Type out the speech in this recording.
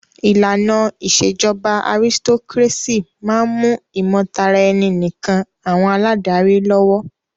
ìlànà ìṣèjọba aristocrácy máà ń mú ìmọ̀taraẹni nìkàn àwọn aládarí lọ́wọ́.